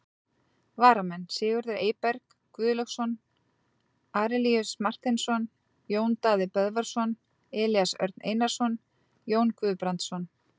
Varamenn: Sigurður Eyberg Guðlaugsson, Arilíus Marteinsson, Jón Daði Böðvarsson, Elías Örn Einarsson, Jón Guðbrandsson.